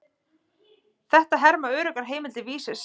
Þetta herma öruggar heimildir Vísis.